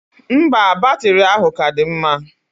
Mba, batiri ahụ ka dị mma.